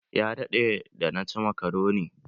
Ya daɗe da na ci makaroni.